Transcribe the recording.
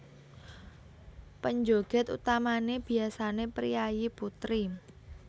Penjoget utamané biasané priyayi putri